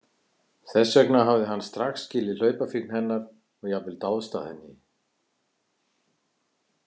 Þess vegna hafði hann strax skilið hlaupafíkn hennar og jafnvel dáðst að henni.